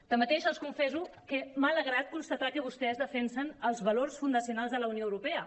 tanmateix els confesso que m’ha alegrat constatar que vostès defensen els valors fundacionals de la unió europea